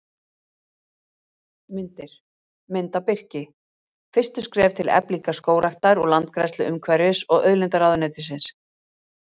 Myndir: Mynd af birki: Fyrstu skref til eflingar skógræktar og landgræðslu Umhverfis- og auðlindaráðuneytið.